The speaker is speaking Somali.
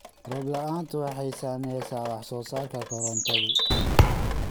Roob la'aantu waxay saamaysaa wax soo saarka korontadu.